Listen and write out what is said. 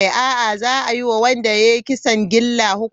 A'a, za a yi wa wanda ya yi kisan gilla hukuncin daurin rai da rai.